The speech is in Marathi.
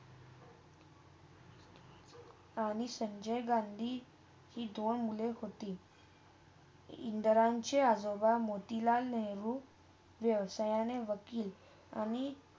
आणि संजय गांधी हे दोन मुले होती. इंद्रनचे आजोबा मोतीलाल नेहरू व्यवसाय ने वकील आणि.